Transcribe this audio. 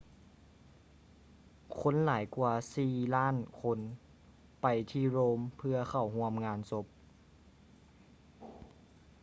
ຄົນຫຼາຍກວ່າສີ່ລ້ານຄົນໄປທີ່ rome ເພື່ອເຂົ້າຮ່ວມງານສົບ